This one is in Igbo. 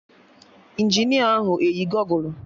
Injinia ahụ eyi gọgụlụ?